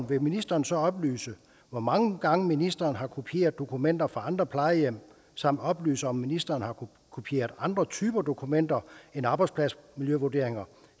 vil ministeren så oplyse hvor mange gange ministeren har kopieret dokumenter fra andre plejehjem samt oplyse om ministeren har kopieret andre typer dokumenter end arbejdspladsmiljøvurderinger